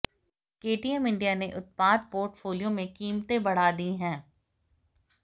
KTM India ने उत्पाद portfolio में कीमतें बढ़ा दी हैं